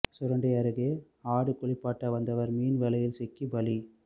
சுரண்டை அருகே ஆடு குளிப்பாட்ட வந்தவர் மீன் வலையில் சிக்கி பலி